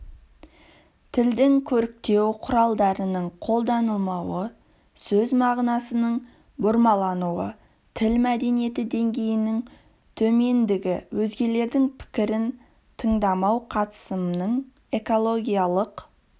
тілдің көріктеу құралдарының қолданылмауы сөз мағынасының бұрмалануы тіл мәдениеті деңгейінің төмендігі өзгелердің пікірін тыңдамау қатысымның экологиялық